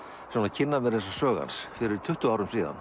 kynna mér sögu hans fyrir tuttugu árum síðan